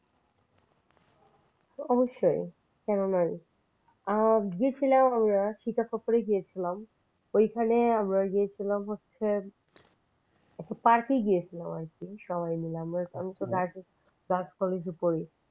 অবশ্যই কেন নয়? গিয়েছিলাম আমরা সৃতাপুরে গিয়েছিলাম ওইখানে আমরা গিয়েছিলাম হচ্ছে park গিয়েছিলাম আর কি সব সবাই মিলে আমি তো girls college পড়ি।